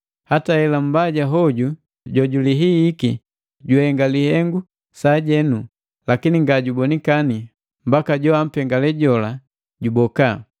Hata hela Mbaja hoju jojulihihiki juhenga lihengu sajenu, lakini ngajubonikani mbaka joampengale jola juboka.